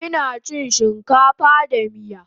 Ina chin shinkafa da miya